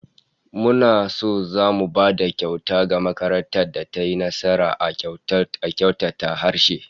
Muna son zamu ba da kyauta ga makarantar da tayi nasara a kyautata harshe